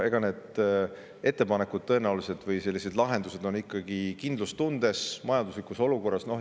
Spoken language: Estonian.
Eks tõenäolised lahendused on ikkagi kindlustundes, majanduslikus olukorras.